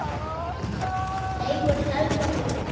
Leifur, Helga og Hanna.